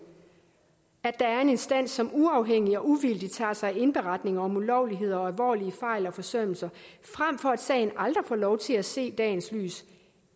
at der er en instans som uafhængigt og uvildigt tager sig af indberetninger om ulovligheder og alvorlige fejl og forsømmelser frem for at en sag aldrig får lov til at se dagens lys